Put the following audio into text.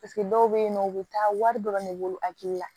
Paseke dɔw bɛ yen nɔ u bɛ taa wari dɔrɔn de bolo hakili la